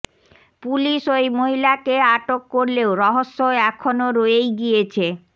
police ওই মহিলাকে আটক করলেও রহস্য এখনও রয়েই গিয়েছে